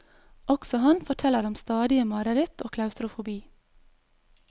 Også han forteller om stadige mareritt og klaustrofobi.